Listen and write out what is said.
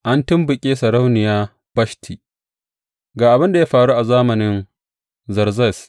An tumɓuke sarauniya Bashti Ga abin da ya faru a zamanin Zerzes.